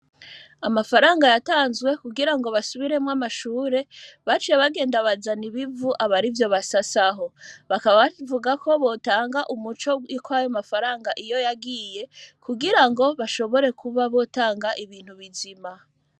Amafaranga yatanzwe kugira ngo basubiremwo amashure bacu ya bagenda bazana ibivu abari vyo basa saho bakabavuga ko botanga umuco wiko ayo amafaranga iyo yagiye kugira ngo bashobore kuba botanga ibintu bizima.